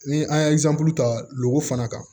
Ni an ye ta lo fana kan